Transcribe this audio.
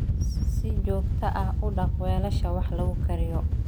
Si joogto ah u dhaq weelasha wax lagu kariyo.